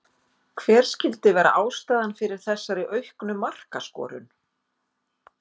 Hver skyldi vera ástæðan fyrir þessari auknu markaskorun?